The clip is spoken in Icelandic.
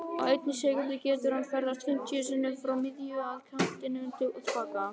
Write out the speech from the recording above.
Á einni sekúndu getur hann ferðast fimmtíu sinnum frá miðju, að kantinum og til baka.